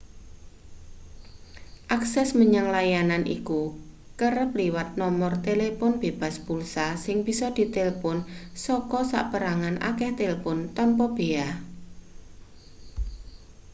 akses menyang layanan iku kerep liwat nomor telepon bebas pulsa sing bisa ditelpon saka saperangan akeh talpon tanpa bea